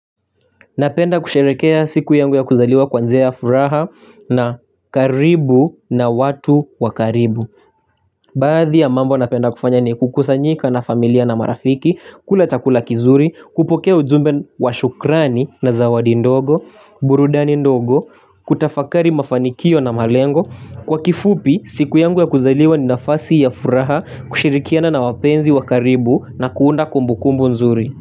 Napenda kusherehekea siku yangu ya kuzaliwa kwanzea ya furaha na karibu na watu wakaribu. Baadhi ya mambo napenda kufanya ni kukusanyika na familia na marafiki, kula chakula kizuri, kupokea ujumbe washukrani na zawadi ndogo, burudani ndogo, kutafakari mafanikio na malengo. Kwa kifupi, siku yangu ya kuzaliwa ni nafasi ya furaha, kushirikiana na wapenzi wakaribu na kuunda kumbukumbu nzuri.